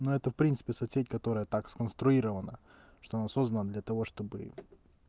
ну это в принципе соц сеть которая так сконструировано что она создана для того чтобы